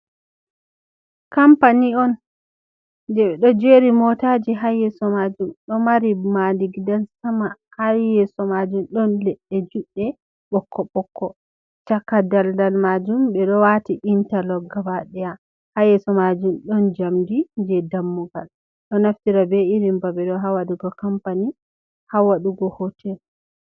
Kampani on, jey ɓe ɗo jeeri mootaaji haa yeeso maajum. Ɗo mari maadi, gidan sama haa yeeso maajum, ɗon leɗɗe juɗɗe ɓokko ɓokko, caka daldal maajum, ɓe ɗo waati intalok gabaɗaya, haa yeeso maajum ɗon njamndi jey dammugal. Ɗo naftira be irin babe ɗo, haa waɗugo kampani, haa waɗugo hootel.